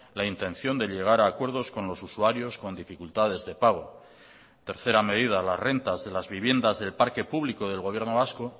la intención de llegar a acuerdos con los usuarios con dificultades de pago tercera medida las rentas de las viviendas del parque público del gobierno vasco